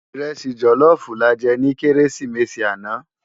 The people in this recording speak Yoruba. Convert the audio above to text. Irèsi jòlòfú làjè ni Kérésimési ànâ